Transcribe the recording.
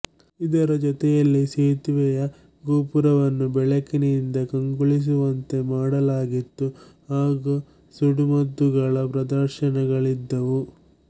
ಇದರ ಜೊತೆಯಲ್ಲಿ ಸೇತುವೆಯ ಗೋಪುರವನ್ನು ಬೆಳಕಿನಿಂದ ಕಂಗೊಳಿಸುವಂತೆ ಮಾಡಲಾಗಿತ್ತು ಹಾಗು ಸುಡುಮದ್ದುಗಳ ಪ್ರದರ್ಶನಗಳಿದ್ದವು